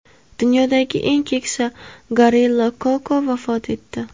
Dunyodagi eng keksa gorilla Koko vafot etdi.